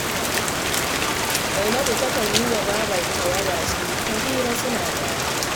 Zainabu takan yi wa babarta waya, suyi ta hira, suna dariya